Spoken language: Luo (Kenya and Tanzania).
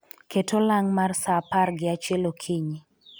Ket olang' mar sa par gi achiel okinyi